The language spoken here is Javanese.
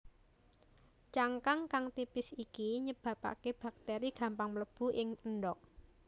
Cangkang kang tipis iki nyebabaké baktéri gampang mlebu ing endhog